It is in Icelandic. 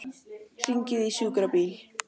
Hringið í sjúkrabíl.